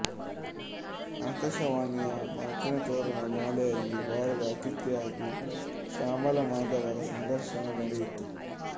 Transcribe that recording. ಆಕಾಶವಾಣಿಯ ಮಾತಿನತೋರಣ ಮಾಲೆಯಲ್ಲಿ ವಾರದ ಅತಿಥಿಯಾಗಿ ಶ್ಯಾಮಲಾ ಮಾಧವರ ಸಂದರ್ಶನ ನಡೆಯಿತು